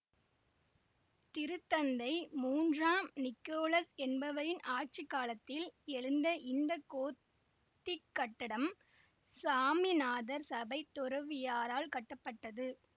திருத்தந்தை மூன்றாம் நிக்கோலக் என்பவரின் ஆட்சி காலத்தில் எழுந்த இந்த கோத்திக் கட்டடம் சாமிநாதர் சபைத் துறவியரால் கட்டப்பட்டது